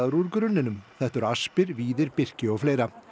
úr grunninum þetta eru aspir víðir birki og fleira